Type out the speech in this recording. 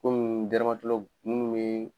Komi munnu be